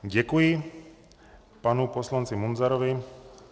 Děkuji panu poslanci Munzarovi.